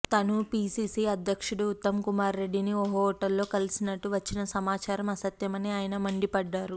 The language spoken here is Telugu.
తను పిసిసి అధ్యక్షుడు ఉత్తమ్కుమార్రెడ్డిని ఓ హోటల్లో కలిసినట్లు వచ్చిన సమాచారం అసత్యమని ఆయన మండిపడ్డారు